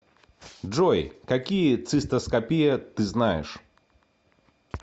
джой какие цистоскопия ты знаешь